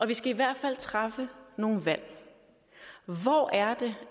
vi skal i hvert fald træffe nogle valg hvor er det